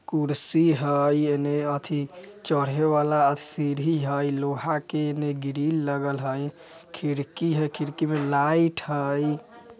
कुर्सी हई | एने अथि चढ़े वाला सीढ़ी हई लोहा के एने ग्रील लगल हई खिड़की हई खिड़की मे लाइट हई ।